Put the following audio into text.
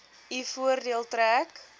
u voordeel trek